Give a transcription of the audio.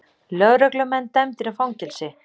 Lögreglumenn dæmdir í fangelsi